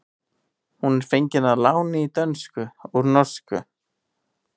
Hún er fengin að láni í dönsku úr norsku.